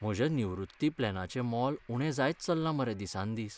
म्हज्या निवृत्ती प्लॅनाचें मोल उणें जायत चल्लां मरे दिसान दीस.